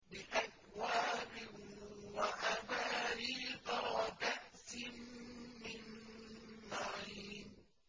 بِأَكْوَابٍ وَأَبَارِيقَ وَكَأْسٍ مِّن مَّعِينٍ